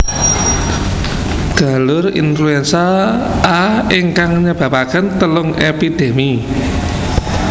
Galur influenza A ingkang nyebapaken telung epidemi